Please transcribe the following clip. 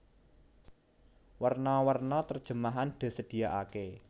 Werna werna terjemahan disediaaké